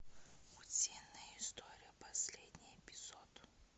утиные истории последний эпизод